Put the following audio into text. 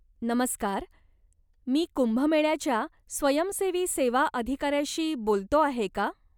नमस्कार, मी कुंभमेळयाच्या स्वयंसेवी सेवा अधिकाऱ्याशी बोलतो आहे का?